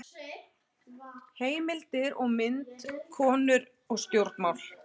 Heimildir og mynd: Konur og stjórnmál.